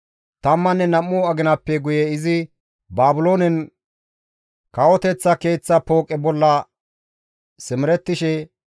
Tammanne nam7u aginappe guye izi Baabiloonen kawoteththa keeththa pooqe bolla simerettishe,